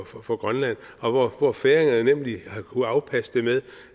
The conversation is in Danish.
for for grønland og hvor færingerne nemlig har kunnet afpasse det med